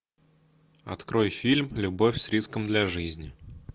открой фильм любовь с риском для жизни